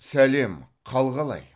сәлем қал қалай